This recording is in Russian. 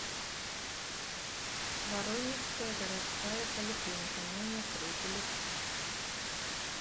воронежская городская поликлиника номер три телефон